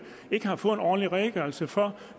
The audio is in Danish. ikke har fået en ordentlig redegørelse for